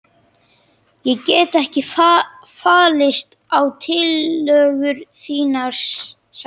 Ég get ekki fallist á tillögur þínar sagði ég.